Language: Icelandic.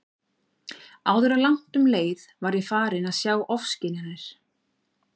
Áður en langt um leið var ég farin að fá ofskynjanir.